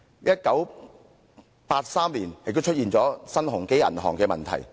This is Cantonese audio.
1983年，新鴻基銀行也出現了問題。